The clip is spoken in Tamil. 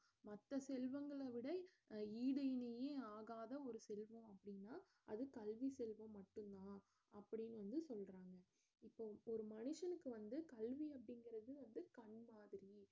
மத்த செல்வங்களை விட அஹ் ஈடு இணையே ஆகாத ஒரு செல்வம் அப்படினா அது கல்வி செல்வம் மட்டும்தான் அப்படினு வந்து சொல்லறாங்க இப்ப ஒரு ஒரு மனுஷனுக்கு வந்து கல்வி அப்படிங்கிறது வந்து கண் மாதிரி